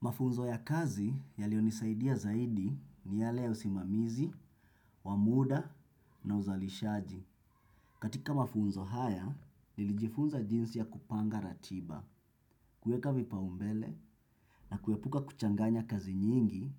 Mafunzo ya kazi yalionisaidia zaidi ni yale ya usimamizi, wa muda na uzalishaji. Katika mafunzo haya, nilijifunza jinsi ya kupanga ratiba, kuweka vipaumbele na kuepuka kuchanganya kazi nyingi